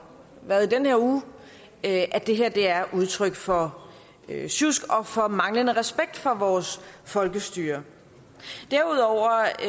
været i den her uge at det her er udtryk for sjusk og for manglende respekt for vores folkestyre derudover